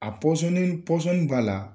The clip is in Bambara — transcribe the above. A pɔsɔnni pɔsɔnni b'a la